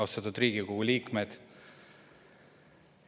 Austatud Riigikogu liikmed!